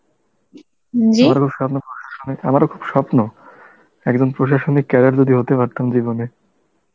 আমারও খুব স্বপ্ন প্রশাসনে, আমারও খুব স্বপ্ন, একজন প্রশাসনিক cradet যদি হতে পারতাম জীবনে